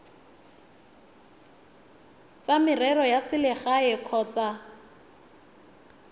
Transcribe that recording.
tsa merero ya selegae kgotsa